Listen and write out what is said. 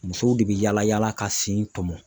Musow de bɛ yaala yaala ka si n tɔmɔ